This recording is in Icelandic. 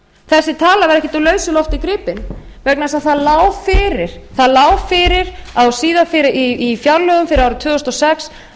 þessi tala var ekkert úr lausu lofti gripin vegna þess að það lá fyrir í fjárlögum fyrir árið tvö þúsund og sex að